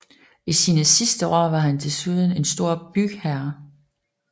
I sine sidste år var han desuden en stor bygherre